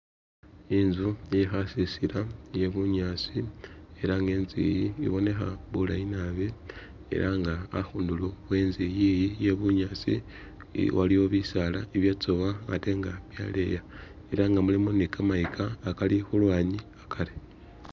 Inzu iye khasisila iye bunyaasi, ela nga inzu iyi ibonekha bulayi nabi ela nga akhundulo enzu iyiyi iye bunyaasi ili waliwo bisaala ibyatsowa ate nga byaleya, ela nga mulimo ni kamayika akali khulwanyi akari